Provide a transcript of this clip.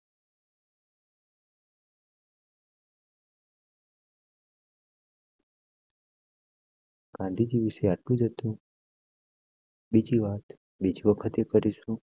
ગાંધીજી વિસે આખું હતું. બીજી વાત વિગતે કરીશું.